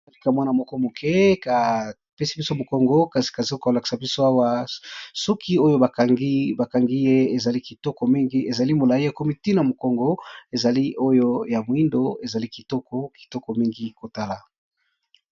balakisi mwana moko moke kapesi biso mokongo kasi kazoka kolakisa biso awa soki oyo bakangi ye ezali kitoko mingi ezali molai ya komitina mokongo ezali oyo ya moindo ezali kitoko kitoko mingi kotala